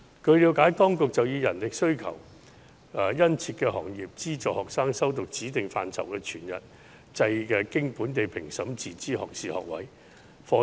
據了解，當局已按人力需求殷切的行業，資助學生修讀指定範疇的全日制經本地評審的自資學士學位課程。